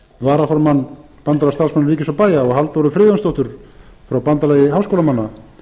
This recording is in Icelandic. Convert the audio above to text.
varaformann bandalags starfsmanna ríkis og bæja og halldóru friðjónsdóttur frá bandalagi háskólamanna